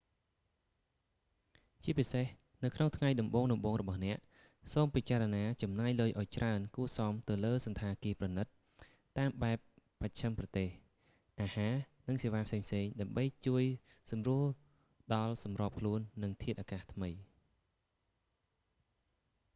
ជាពិសេស នៅក្នុងថ្ងៃដំបូងៗរបស់អ្នក សូមពិចារណាចំណាយលុយឲ្យច្រើនគួរសមទៅលើសណ្ឋាគារប្រណីតតាមបែបបស្ចិមប្រទេស អាហារ និងសេវាផ្សេងៗដើម្បីជួយសម្រួលដល់សម្របខ្លួននឹងធាតុអាកាសថ្មី